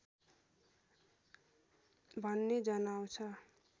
भन्ने जनाउँछ